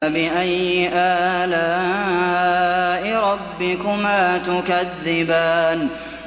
فَبِأَيِّ آلَاءِ رَبِّكُمَا تُكَذِّبَانِ